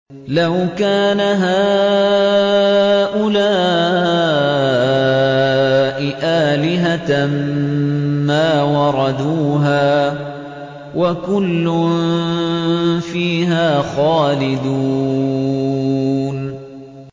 لَوْ كَانَ هَٰؤُلَاءِ آلِهَةً مَّا وَرَدُوهَا ۖ وَكُلٌّ فِيهَا خَالِدُونَ